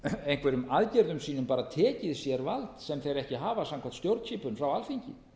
einhverjum aðgerðum sínum bara tekið sér vald sem þeir ekki hafa samkvæmt stjórnskipun frá alþingi